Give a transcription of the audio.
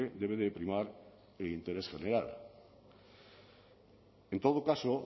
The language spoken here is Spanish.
debe primar el interés general en todo caso